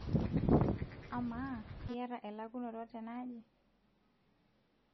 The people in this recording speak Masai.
amaa iyata elakunoto tenaaji?